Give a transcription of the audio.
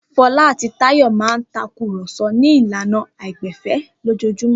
Fọlá àti Táyọ̀ máa ń takùrọ̀so ní ìlànà àìgbẹ̀fẹ̀ lójoojúmọ́.